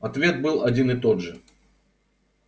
ответ был один и тот же